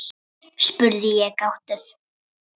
spurði ég gáttuð.